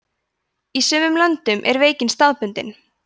í sumum löndum er veikin staðbundin